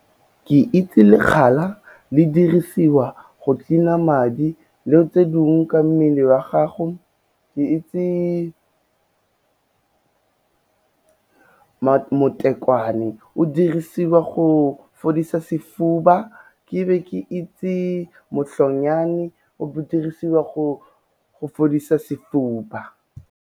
Ke itse lekgala le dirisiwa go cleaner-a madi le tse dingwe ka mmele wa gago, ke itse motekwane o dirisiwa go fodisa sefuba, ke be ke itse motlhonnyane o dirisiwa go fodisa sefuba.